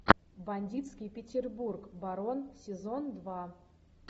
бандитский петербург барон сезон два